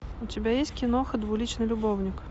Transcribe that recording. у тебя есть киноха двуличный любовник